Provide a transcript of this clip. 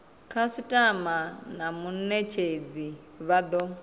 khasitama na munetshedzi vha do